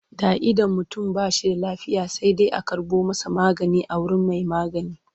Da idan mutum ba shi da lafiya sai dai a karɓo masa magani a wurin mai magani.